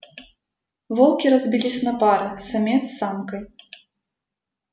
волки разбились на пары самец с самкой